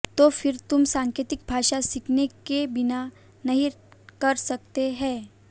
तो फिर तुम सांकेतिक भाषा सीखने के बिना नहीं कर सकते हैं